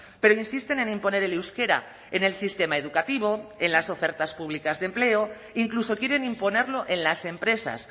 pero insisten en imponer el euskera en el sistema educativo en las ofertas públicas de empleo incluso quieren imponerlo en las empresas